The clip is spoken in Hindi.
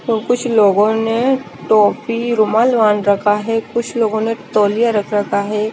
और कुछ लोगो ने टोपी रुमाल बांध रखा है कुछ लोगो ने तौलिया रखा हुआ है।